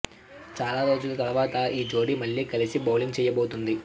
చాలా రోజుల తర్వాత ఈ జోడీ మళ్లీ కలిసి బౌలింగ్ చేయబోతోంది